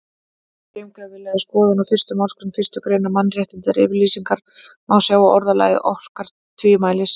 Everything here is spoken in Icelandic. Við gaumgæfilega skoðun á fyrstu málsgrein fyrstu greinar Mannréttindayfirlýsingarinnar má sjá að orðalagið orkar tvímælis.